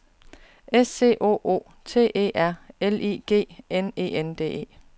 S C O O T E R L I G N E N D E